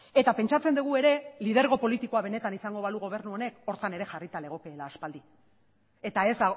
eta pentsatzen dugu ere lidergo politikoa benetan izango balu gobernu honek horretan ere jarrita legokeela aspaldi eta ez